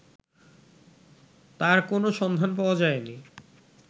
তার কোনো সন্ধান পাওয়া যায়নি